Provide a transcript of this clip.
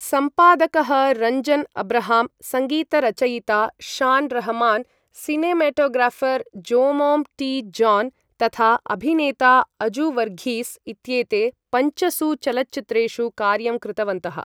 सम्पादकः रञ्जन् अब्रहाम्, संगीतरचयिता Shaan Rahman, cinematographer Jomon T. John, तथा अभिनेता अजु वर्घीस् इत्येते पञ्चसु चलच्चित्रेषु कार्यं कृतवन्तः।